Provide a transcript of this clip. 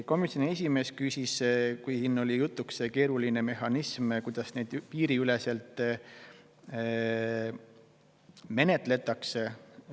Komisjoni esimees küsis selle kohta, mis oli samuti siin jutuks, nimelt see keeruline mehhanism, kuidas neid asju piiriüleselt menetletakse.